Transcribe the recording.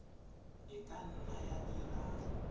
e ka nna ya dira